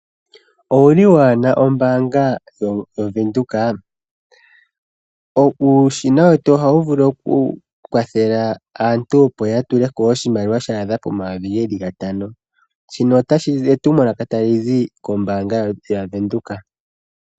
Owuli waana ombaanga yaVenduka? uushina wetu ohawu vulu okukwathela aantu opo yatuleko oshimaliwa shaadha pomayovi geli gatano, ndino etumwalaka talizi kombaanga yaVenduka.